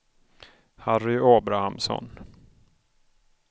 Harry Abrahamsson